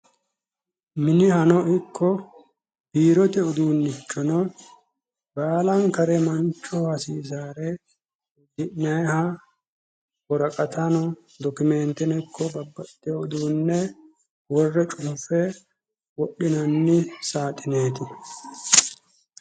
Minihani ikko biirote uduunnichono baalankare manchoho hasiisaare uddi'nayiiha woraqata dokimenteno ikko babbaxxitewo uduunne worre cunfe wodhinanni saaxineeti.